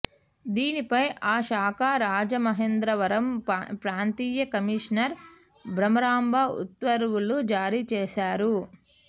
దీనిపై ఆ శాఖ రాజమహేంద్రవరం ప్రాంతీయ కమిషనర్ భ్రమరాంబ ఉత్తర్వులు జారీ చేశారు